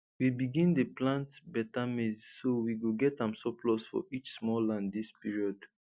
we begin dey plant beta maize so we go get am surplus for each small land dis period